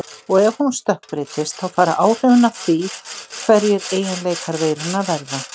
Og ef hún stökkbreytist þá fara áhrifin af því hverjir eiginleikar veirunnar verða.